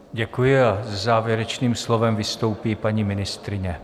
Děkuji a se závěrečným slovem vystoupí paní ministryně.